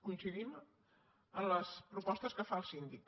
coincidim amb les propostes que fa el síndic